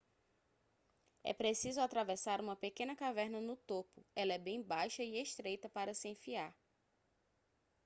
é preciso atravessar uma pequena caverna no topo ela é bem baixa e estreita para se enfiar